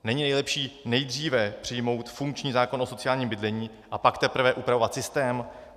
Není lepší nejdříve přijmout funkční zákon o sociálním bydlení, a pak teprve upravovat systém?